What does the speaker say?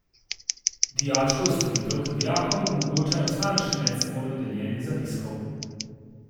Dijačko je storitev, ki dijakom omogoča enostavnejše medsebojno deljenje zapiskov.